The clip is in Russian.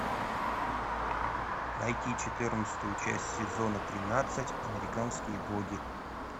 найти четырнадцатую часть сезона тринадцать американские боги